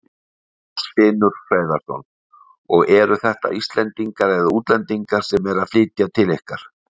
Magnús Hlynur Hreiðarsson: Og eru þetta Íslendingar eða útlendingar sem eru að flytja til ykkar?